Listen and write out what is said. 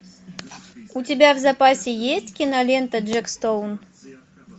у тебя в запасе есть кинолента джек стоун